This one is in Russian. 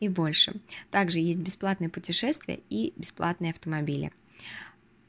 и больше так же есть бесплатные путешествия и бесплатные автомобили